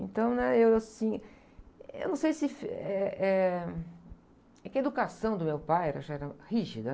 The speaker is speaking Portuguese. Então, né? Eu, assim, eu não sei se... É, eh, é que a educação do meu pai, ela já era rígida.